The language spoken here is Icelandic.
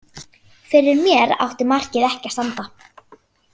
Fyrir mér átti markið ekki að standa.